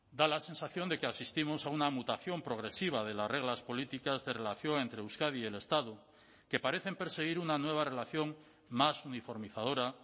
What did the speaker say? da la sensación de que asistimos a una mutación progresiva de las reglas políticas de relación entre euskadi y el estado que parecen perseguir una nueva relación más uniformizadora